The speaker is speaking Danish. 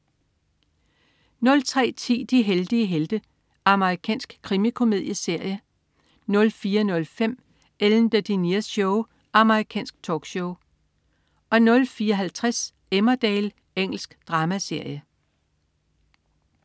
03.10 De heldige helte. Amerikansk krimikomedieserie 04.05 Ellen DeGeneres Show. Amerikansk talkshow 04.50 Emmerdale. Engelsk dramaserie